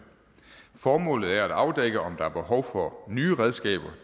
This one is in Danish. formålet er at afdække om der er behov for nye redskaber